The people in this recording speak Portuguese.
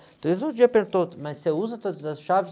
Então eles um dia perguntaram, mas você usa todas as chaves?